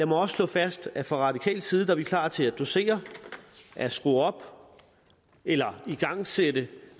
mig også slå fast at fra radikal side er vi klar til at dosere at skrue op for eller igangsætte